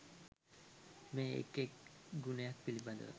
මේ එක් එක් ගුණයක් පිළිබඳ